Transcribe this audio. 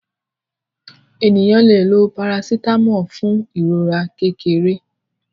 Ènìyàn lẹ ló paracetamol fun ìrora kékeré.